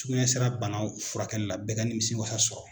Sugunɛ sira banaw furakɛli la, bɛɛ ka nimisi wasa sɔrɔ.